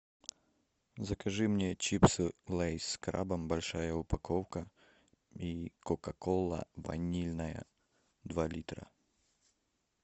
закажи мне чипсы лейс с крабом большая упаковка и кока кола ванильная два литра